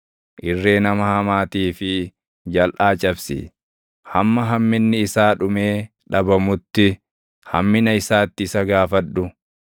Irree nama hamaatii fi jalʼaa cabsi; hamma hamminni isaa dhumee dhabamutti, hammina isaatti isa gaafadhu.